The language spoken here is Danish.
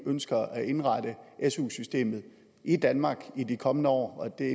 ønsker at indrette su systemet i danmark i de kommende år og det